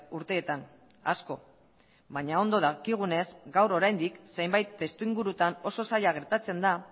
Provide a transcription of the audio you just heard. urteetan asko baina ondo dakigunez gaur oraindik zenbait testuingurutan oso zaila gertatzen da